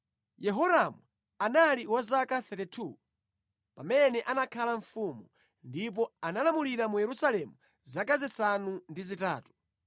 Yehoramu anali wa zaka 32 pamene anakhala mfumu, ndipo analamulira mu Yerusalemu zaka zisanu ndi zitatu.